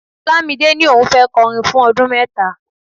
Olamide ní òun ò fẹ́ kọrin fún ọdún mẹ́ta.